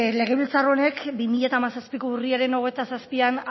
legebiltzar honek bi mila hamazazpiko urriaren hogeita zazpian